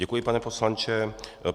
Děkuji, pane poslanče.